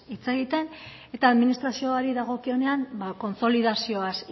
hitz egiten eta administrazioari dagokionean kontsolidazioaz